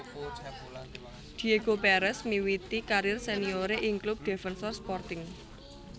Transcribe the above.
Diego Pérez miwiti karir senioré ing klub Defensor Sporting